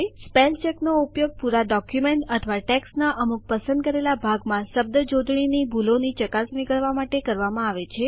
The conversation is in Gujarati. સ્પેલચેક નો ઉપયોગ પુરા ડોક્યુમેન્ટ અથવા ટેસ્કટના અમુક પસંદ કરેલા ભાગમાં શબ્દ જોડણીની ભૂલોની ચકાસણી કરવા માટે કરવામાં આવે છે